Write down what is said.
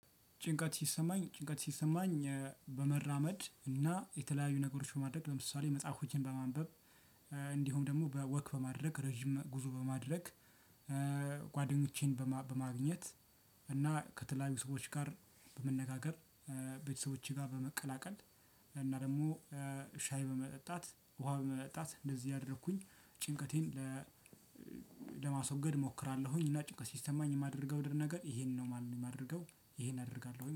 ጭንቀት ሲሰማኝ ጭንቀት ሲሰማኝ። በመራመድ እና የተለያዩ ነገሮች ማድረግ ለምሳሌ መጽሐፍ ሆኜን በማንበብ ደግሞ በወክ በማድረግ ረጅም ጉዞ በማድረግ። ጓደኞቼን በማግኘት እና ከተለያዩ ሰዎች ጋር በመነጋገር። ቤተሰቦቼ ጋር በመቀላቀል እና ደግሞ ሻይ በመጠጣት፣ ውሃ በመጠጣት እንደዚህ ያደረኩኝ ጭንቀቴን ለማስወገድ እሞክራለሁኝ። እና ጭንቀት ሲሰማኝ የማደርገው ድር ነገር ይሄንን ነው የማንም የማደርገው ይሄን አደርጋለሁኝ።